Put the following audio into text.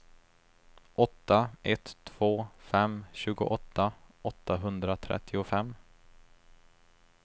åtta ett två fem tjugoåtta åttahundratrettiofem